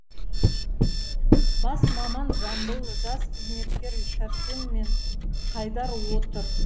бас маман жамбыл жас қызметкерлер сәрсен мен қайдар отыр